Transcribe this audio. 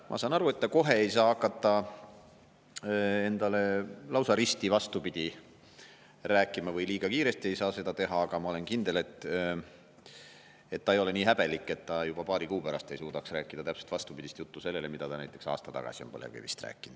Ma saan aru, et ta kohe ei saa hakata endale lausa risti vastupidist rääkima, liiga kiiresti ei saa seda teha, aga ma olen kindel, et ta ei ole nii häbelik, et ta juba paari kuu pärast ei suudaks rääkida täpselt vastupidist juttu sellele, mida ta näiteks aasta tagasi on põlevkivist rääkinud.